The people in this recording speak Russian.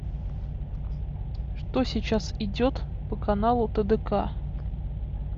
что сейчас идет по каналу тдк